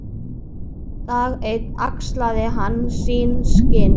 Dag einn axlaði hann sín skinn.